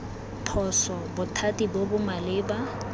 phoso bothati bo bo maleba